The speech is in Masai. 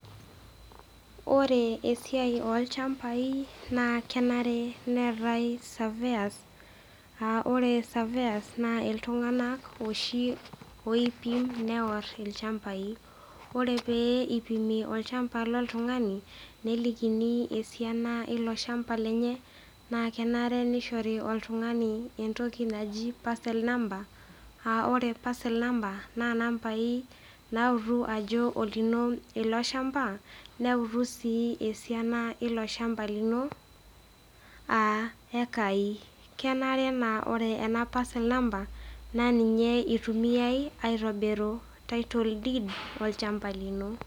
Ore esiai olchambai naa kenare neatae saveyas, ore saveyas naa iltunganak oshi oipim, neworr ilchambai, ore peeipimi olchamba le ltungani, nelikini esiana eilo ilchamba lenye naa kenare neishori oltungani entoki najii parcel namber, ore parcel number naa nambai nautu ajo lino ilo ilshamba, neutu sii esiana eilo ilshamba lino aa eaki. Kenare naa ore ana parcel number naa ninye eitumiyai aitobiru taito diid olchamba lino.